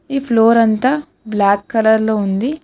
ఈ ఫ్లోర్ అంతా black colour లో ఉంది.